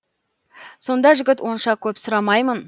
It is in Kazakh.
сонда жігіт онша көп сұрамаймын